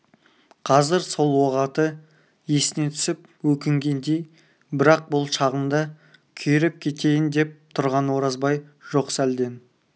қазір сол оғаты есіне түсіп өкінгендей бірақ бұл шағында күйреп кетейін деп тұрған оразбай жоқ сәлден